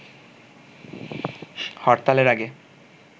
হরতালের আগে